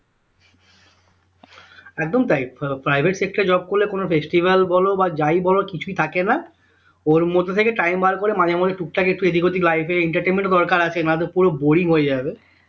একদম তাই আহ private sector এ job করলে কোন festival বলো বা যাই বলো কিছুই থাকে না ওর মধ্যে থেকে time বার করে মাঝে মধ্যে টুকটাক একটু এদিক ওদিক life এ entertainment দরকার আছে না তো পুরো boring হয়ে যাবে